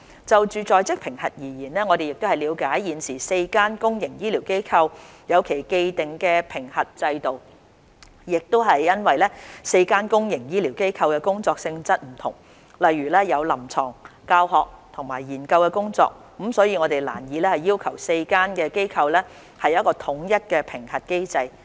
就在職評核而言，我們了解現時4間公營醫療機構有其既定的評核制度，亦因為4間公營醫療機構的工作性質不同，例如有臨床、教學及研究工作，故此我們難以要求4間機構統一其評核機制。